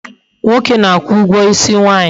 Nwoke na-akwu ugwo isi nwaanyi